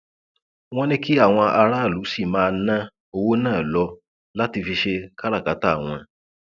wọn ní kí àwọn aráàlú sì máa ná owó náà lò láti fi ṣe káràkátà wọn